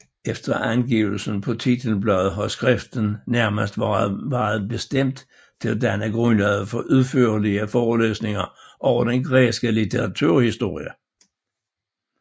Efter angivelsen på titelbladet har skriftet nærmest været bestemt til at danne grundlaget for udførligere forelæsninger over den græske litteraturhistorie